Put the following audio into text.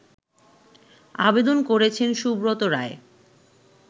আবেদন করেছেন সুব্রত রায়